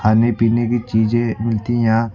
खाने पीने की चीजे मिलती यहां--